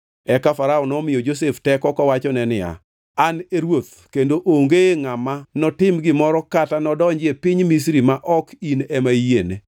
Eka Farao nomiyo Josef teko kowachone niya, “An e ruoth, kendo onge ngʼama notim gimoro kata nodonji e piny Misri ma ok in ema iyiene.”